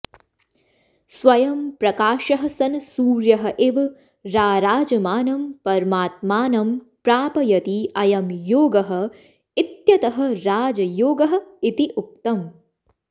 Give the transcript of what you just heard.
स्वयंप्रकाशः सन् सूर्यः इव राराजमानं परमात्मानं प्रापयति अयं योगः इत्यतः राजयोगः इति उक्तम्